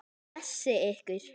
Blessi ykkur.